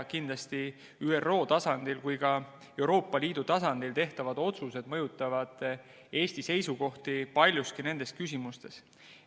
Kindlasti mõjutavad Eesti seisukohti nendes küsimustes nii ÜRO tasandil kui ka Euroopa Liidu tasandil tehtavad otsused.